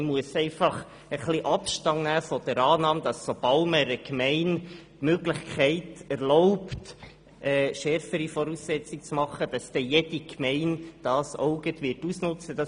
Man muss einfach ein bisschen Abstand davon nehmen, dass jede Gemeinde, der man erlaubt, schärfere Voraussetzungen zu machen, das auch ausnutzen wird.